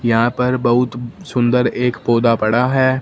यहां पे बहुत सुंदर एक पौधा पड़ा हैं।